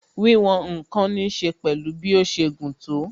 Wíwòn ǹkan ní ṣe pẹ̀lú bí ó ṣe gùn tó